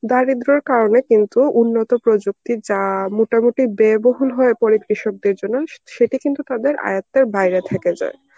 দারিদ্র্য কারণে কিন্তু উন্নত প্রযুক্তির যা মোটামুটি ব্যয়বহুল হয়ে পড়ে কৃষকদের জন্য সেটা কিন্তু তাদের আয়ত্তের বাইরে থেকে যায়.